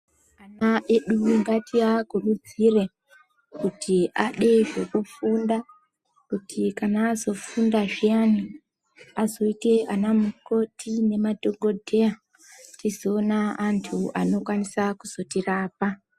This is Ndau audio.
Ana edu ngatiakuridzire kuti ade zvekufunda kuti kana azofunda zviyani azoite anamukoti nemadhokodheya tizoona antu anokwanisa kuzotirapa.